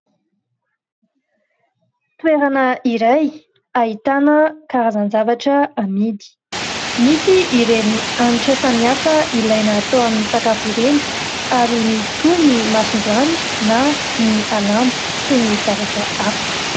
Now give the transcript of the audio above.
Toerana iray ahitana karazan-javatra amidy misy ireny hanitra samihafa ilay atao amin'ny sakafo ireny ary misy koa ny mason-joany na ny alamo sy ny zavatra hafa.